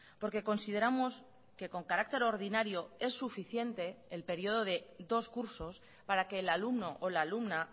porque consideramos que con carácter ordinario es suficiente el periodo de dos cursos para que el alumno o la alumna